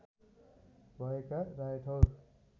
भएका रायठौर